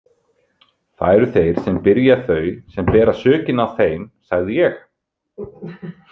Það eru þeir sem byrja þau sem bera sökina á þeim, sagði ég.